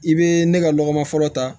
I bɛ ne ka lɔgɔma fɔlɔ ta